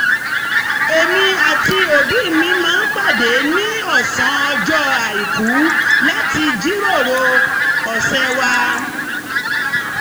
èmi àti òbí mi máa ń pàdé ní ọ̀sán ọjọ́ àìkú láti jíròrò ọ̀sẹ̀ wa